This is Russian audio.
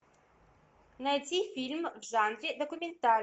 найти фильм в жанре документальный